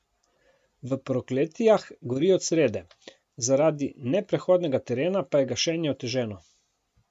V Prokletijah gori od srede, zaradi neprehodnega terena pa je gašenje oteženo.